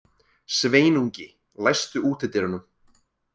Sveinungi, læstu útidyrunum.